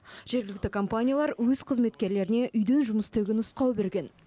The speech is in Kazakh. жергілікті компаниялар өз қызметкерлеріне үйден жұмыс істеуге нұсқау берген